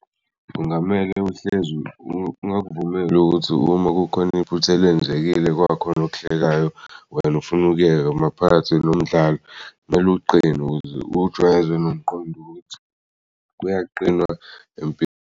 Kungamele uhlezi ungakuvumeli ukuthi uma kukhona iphutha elenzekile kwakhona okuhlekayo, wena ufuna ukuyeka maphakathi nomdlalo. Kumele uqine uwujwayeze nomqondo ukuthi kuyaqinwa empilweni.